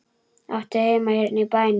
Áttu heima hérna í bænum?